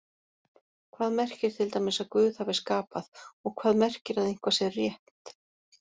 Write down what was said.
Hvað merkir til dæmis að Guð hafi skapað og hvað merkir að eitthvað sé rétt?